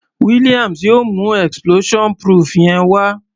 Williams yóò mú explosion proof yẹn wá.